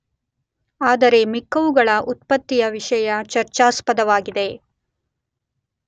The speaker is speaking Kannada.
ಆದರೆ ಮಿಕ್ಕವುಗಳ ಉತ್ಪತ್ತಿಯ ವಿಷಯ ಚರ್ಚಾಸ್ಪದವಾಗಿದೆ.